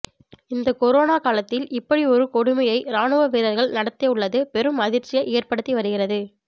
இந்த கொரோனா காலத்தில் இப்படி ஒரு கொடுமையை ராணுவ வீரர்கள் நடத்தி உள்ளது பெரும் அதிர்ச்சியை ஏற்படுத்தி வருகிறது